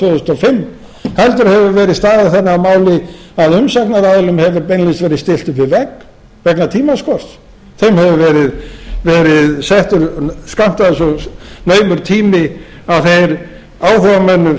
fimm heldur hefur verið staðið þannig að máli að umsagnaraðilum hefur beinlínis verið stillt upp við vegg vegna tímaskorts þeim hefur verið skammtaður svo naumur tími að þeir áhugamenn um